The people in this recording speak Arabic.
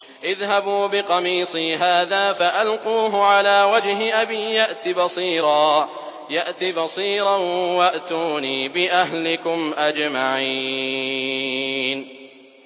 اذْهَبُوا بِقَمِيصِي هَٰذَا فَأَلْقُوهُ عَلَىٰ وَجْهِ أَبِي يَأْتِ بَصِيرًا وَأْتُونِي بِأَهْلِكُمْ أَجْمَعِينَ